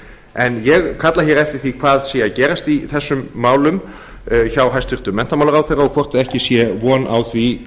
en ég kalla eftir því hvað sé að gerast í þessum málum hjá hæstvirtum menntamálaráðherra og hvort ekki sé von á því